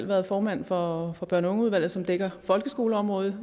været formand for børn og ungeudvalget som dækker folkeskoleområdet